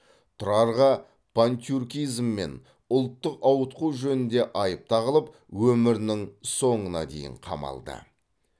тұрарға пантюркизм мен ұлттық ауытқу жөнінде айып тағылып өмірінің соңына дейін қамалды